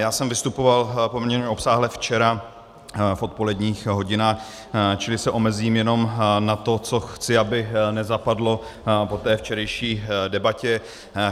Já jsem vystupoval poměrně obsáhle včera v odpoledních hodinách, čili se omezím jenom na to, co chci, aby nezapadlo po té včerejší debatě.